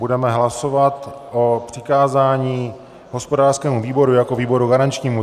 Budeme hlasovat o přikázání hospodářskému výboru jako výboru garančnímu.